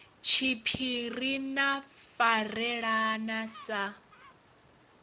tshiphiri na u farelana sa